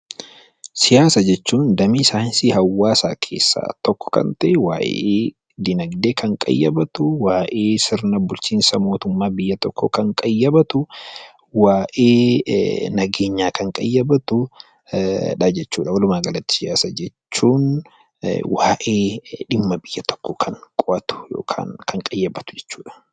Siyaasa jechuun damee saayinsii hawaasaa keessaa tokko kan ta'e, waa'ee dinaagdee kan qayyabatu, sirna bulchiinsa mootummaa biyya tokkoo kan qayyabatu, waa'ee nageenyaa kan qayyabatu, walumaa galatti siyaasa jechuun waa'ee sirna bulchiinsa kan qayyabatu jechuudha.